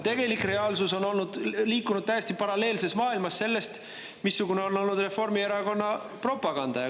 Aga reaalsus on liikunud täiesti paralleelses maailmas võrreldes sellega, mis on olnud Reformierakonna propaganda.